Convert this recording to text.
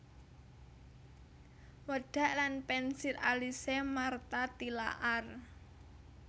Wedak lan pensil alise Martha Tilaar